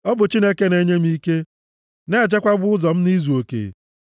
Ọ bụ Chineke na-enye m ike, na-echebekwa ụzọ m nʼizuoke.